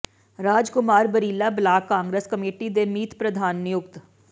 ਰਾਜ ਕੁਮਾਰ ਬਰੀਲ੍ਹਾ block Congress committee ਦੇ ਮੀਤ ਪ੍ਰਧਾਨ ਨਿਯੁਕਤ